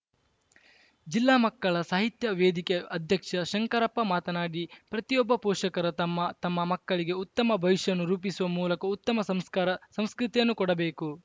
ಜಿಲ್ಲಾ ಮಕ್ಕಳ ಸಾಹಿತ್ಯ ವೇದಿಕೆ ಅಧ್ಯಕ್ಷ ಶಂಕರಪ್ಪ ಮಾತನಾಡಿ ಪ್ರತಿಯೊಬ್ಬ ಪೋಷಕರು ತಮ್ಮ ತಮ್ಮ ಮಕ್ಕಳಿಗೆ ಉತ್ತಮ ಭವಿಷ್ಯವನ್ನು ರೂಪಿಸುವ ಮೂಲಕ ಉತ್ತಮ ಸಂಸ್ಕಾರ ಸಂಸ್ಕೃತಿಯನ್ನು ಕೊಡಬೇಕು